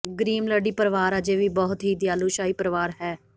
Grimaldi ਪਰਵਾਰ ਅਜੇ ਵੀ ਬਹੁਤ ਹੀ ਦਿਆਲੂ ਸ਼ਾਹੀ ਪਰਿਵਾਰ ਹੈ